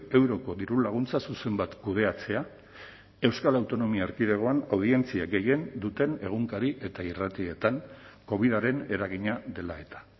euroko dirulaguntza zuzen bat kudeatzea euskal autonomia erkidegoan audientzia gehien duten egunkari eta irratietan covidaren eragina dela eta